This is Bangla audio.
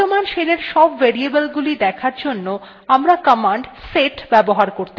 বর্তমান shell এর সব variables দেখার জন্য আমরা command set ব্যবহার করতে পারি